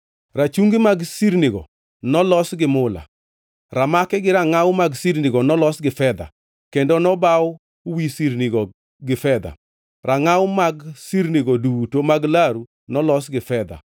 Rachungi mag sirnigo nolos gi mula. Ramaki gi rangʼaw mag sirnigo nolos gi fedha, kendo nobaw wi sirnigo gi fedha; rangʼaw mag sirnigo duto mag laru nolos gi fedha.